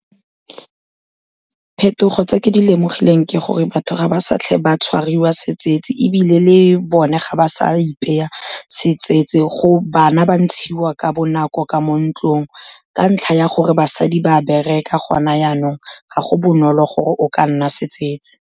Phetogo tse ke di lemogileng ke gore batho ga ba sa tle ba tshwariwa setsetsi, ebile le bone ga ba sa ipeya setsetsi, bana ba ntshiwa ka bonako ka mo ntlong, ka ntlha ya gore basadi ba bereka gone janong, ga go bonolo gore o ka nna setsetsi.